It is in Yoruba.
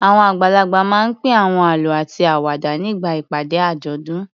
Àwọn àgbàlagbà máa ń pín àwọn àlọ́ àti àwàdà nígbà ìpàdé àjọ̀dún.